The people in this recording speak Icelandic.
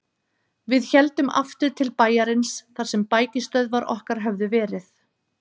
Við héldum aftur til bæjarins þar sem bækistöðvar okkar höfðu verið.